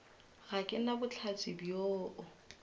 ga ke na bohlatse bjoo